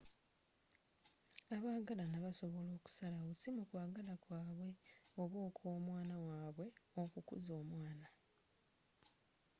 abagalana basobola okusalawo si mu kwagala kwa bwe oba okw’omwana w’abwe, okukuza omwana